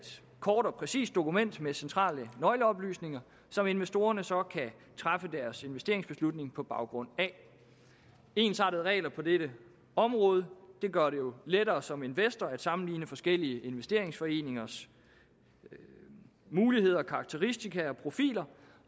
kort og præcist dokument med centrale nøgleoplysninger som investorerne så kan træffe deres investeringsbeslutninger på baggrund af ensartede regler på dette område gør det lettere som investor at sammenligne forskellige investeringsforeningers muligheder karakteristika og profiler